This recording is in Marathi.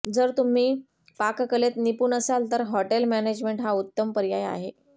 जर तुम्ही पाककलेत निपुण असाल तर हॉटेल मॅनेजमेंट हा उत्तम पर्याय आहे